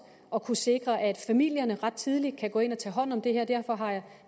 at kunne sikre at familierne ret tidligt kan gå ind og tage hånd om det her og derfor har